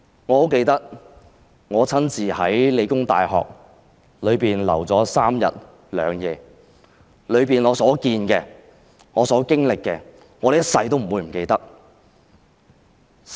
我很記得我親身在香港理工大學逗留的3日2夜，在裏面我所見到的和經歷的，我一生也不會忘記。